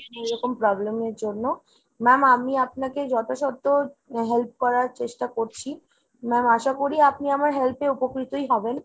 এরকম problem এর জন্য। ma'am আমি আপনাকে যথাসাধ্য help করার চেষ্টা করছি। ma'am আশা করি আপনি আমার help এ উপকৃতই হবেন।